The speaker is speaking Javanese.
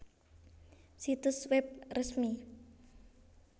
Situs web resmi